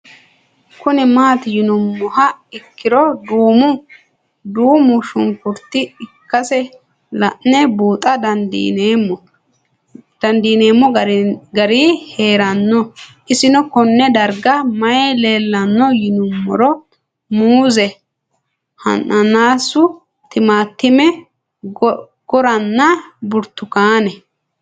Kuni mati yinumoha ikiro duumo shinkurta ikasi la'ne buuxa dandinemo gari heerano isino Kone darga mayi leelanno yinumaro muuze hanannisu timantime gooranna buurtukaane